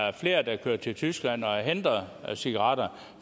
er flere der kører til tyskland og henter cigaretter